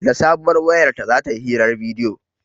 Da sabuwar wayar ta za ta yi hirar bidiyo